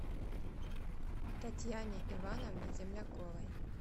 татьяне ивановне земляковой